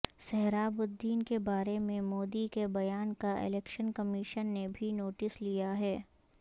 سہراب الدین کے بارے میں مودی کے بیان کا الیکشن کمیشن نےبھی نوٹس لیاہے